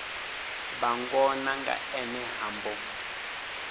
vhangona nga ene ha mbo